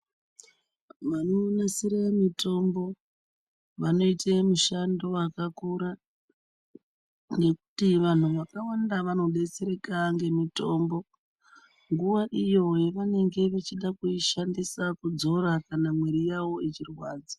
Vanonasire mitombo vanoite mishando wakakura ngekuti vantu vakawanda vanodetsereka ngemitombo nguwa iyo yavanenge vachide kuishandisa kudzora kana mwiri yavo ichirwadza.